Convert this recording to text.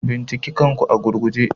Binciki kanku a gurguje.